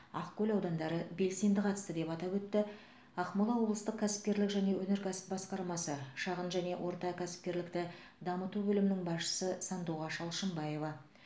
ақкөл аудандары белсенді қатысты деп атап өтті ақмола облыстық кәсіпкерлік және өнеркәсіп басқармасы шағын және орта кәсіпкерлікті дамыту бөлімінің басшысы сандуғаш алшынбаева